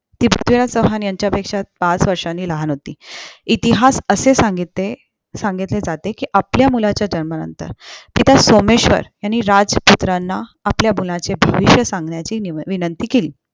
ती पृथ्वीराज चौहान यांच्या पेक्षा पाच वर्षांनी लहान होती इतिहासातअसे सांगिते असे सांगितले जाते कि आपल्या मुलाच्या जन्मा नंतर पिता सोमेश्वर यांनी राजपुत्रांना आपल्या मुलाचे भविष्य सांगण्याची निमती विंनंती केली